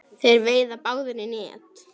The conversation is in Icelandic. Þeir veiða báðir í net.